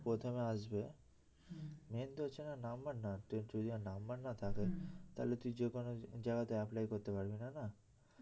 প্রথমে আসবে main তো হচ্ছে না নাম্বার না তোর যদি নাম্বার না থাকে তাহলে তুই যেকোনো জায়গাতে apply করতে পারবি না না